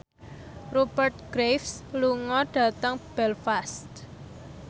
Rupert Graves lunga dhateng Belfast